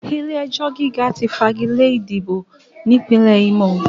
Ilé-ẹjọ̀ gíga ti fagilé ìdìbò ní Ìpínlẹ̀ Ímò